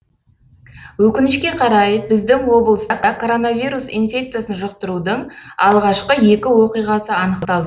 өкінішке қарай біздің облыста коронавирус инфекциясын жұқтырудың алғашқы екі оқиғасы анықталды